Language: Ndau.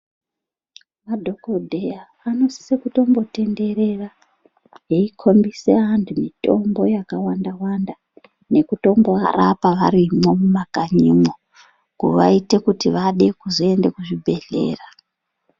Madhogodheya anosise kutombo tenderera eikombise antu mitombo yakawanda-wanda, nekutombo varapa varimwo mumakanyimwo. Kuvaite kuti vade kuzoenda kuzvibhedhlera.